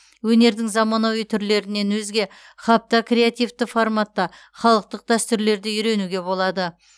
өнердің заманауи түрлерінен өзге хаб та креативті форматта халықтық дәстүрлерді үйренуге болады